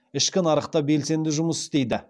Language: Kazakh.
ішкі нарықта белсенді жұмыс істейді